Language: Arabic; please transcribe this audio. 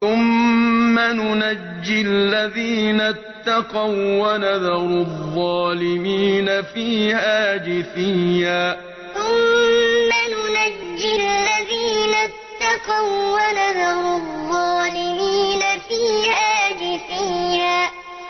ثُمَّ نُنَجِّي الَّذِينَ اتَّقَوا وَّنَذَرُ الظَّالِمِينَ فِيهَا جِثِيًّا ثُمَّ نُنَجِّي الَّذِينَ اتَّقَوا وَّنَذَرُ الظَّالِمِينَ فِيهَا جِثِيًّا